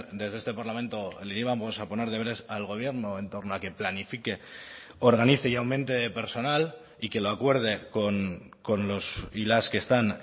desde este parlamento le íbamos a poner deberes al gobierno en torno a que planifique organice y aumente personal y que lo acuerde con los y las que están